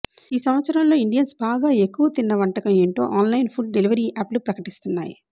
ఈ సంవత్సరంలో ఇండియన్స్ బాగా ఎక్కవ తిన్న వంటకం ఏంటో ఆన్లైన్ ఫుడ్ డెలివరీ యాప్లు ప్రకటిస్తున్నాయి